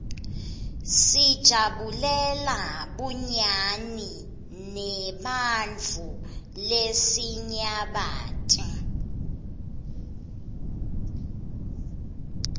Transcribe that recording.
sijabulela bunyani neebantfu lesinyabati